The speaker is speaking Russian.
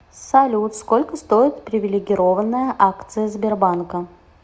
салют сколько стоит привилегированная акция сбербанка